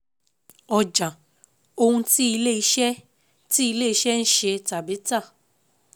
Ọjà: ohun tí ilé iṣẹ́ tí ilé iṣẹ́ ń ṣe tàbí tà.